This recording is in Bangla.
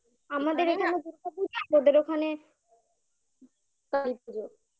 আমাদের এখানে দুর্গাপুজো ওদের ওখানে পুজো